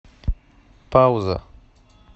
пауза